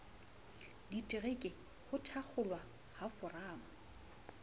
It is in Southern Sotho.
ditereke ho thakgolwa ha foramo